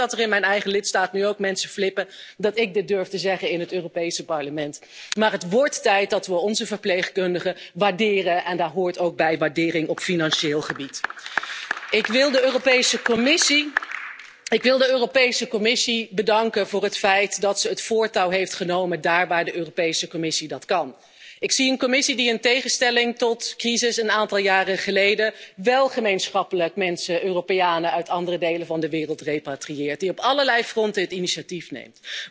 Ik weet dat er in mijn eigen lidstaat nu ook mensen flippen dat ik dit durf te zeggen in het Europees Parlement, maar het wordt tijd dat we onze verpleegkundigen waarderen en daar hoort ook waardering op financieel gebied bij. Ik wil de Europese Commissie bedanken voor het feit dat ze het voortouw heeft genomen daar waar zij dat kan. Ik zie een Commissie die in tegenstelling tot crises een aantal jaren geleden wél gemeenschappelijk mensen, Europeanen, uit andere delen van de wereld repatrieert, die op allerlei fronten het initiatief neemt.